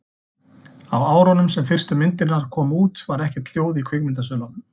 á árunum sem fyrstu myndirnar komu út var ekkert hljóð í kvikmyndasölunum